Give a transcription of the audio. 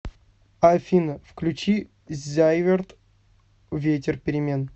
афина включи зайверт ветер перемен